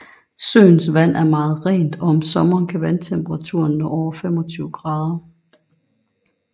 Søens vand er meget rent og om sommeren kan vandtemperaturen nå over 25 grader